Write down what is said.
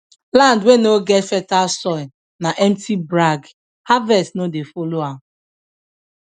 land wey no get fertile soil na empty brag harvest no dey follow am